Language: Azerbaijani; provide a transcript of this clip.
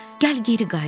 Gəl geri qayıdaq.